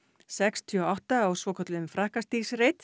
sextíu og átta á svokölluðum